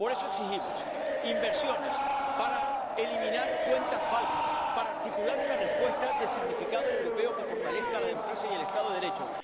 Por eso exigimos inversiones para eliminar cuentas falsas y para articular una respuesta de significado europeo que fortalezca la democracia y el Estado de Derecho.